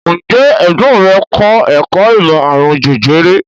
Ǹjẹ́ ẹ̀gbọ́n rẹ̀ kọ́ ẹ̀kọ́ ìmọ̀ àrùn jẹjẹrẹ?